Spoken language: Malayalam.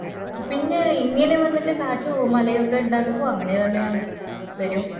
പിന്നെ ഇങ്ങനെ വന്നിട്ട് കാട്ടും മളയു ഒക്കെ ഇണ്ടാകുമ്പോ അങ്ങനെ തന്നെയാണ് വരൂ